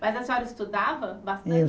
Mas a senhora estudava bastante? Eu